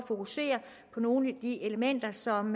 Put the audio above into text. fokusere på nogle af de elementer som